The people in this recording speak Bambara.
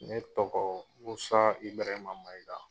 Ne tɔgɔ Musa Ibirahima Mayiga.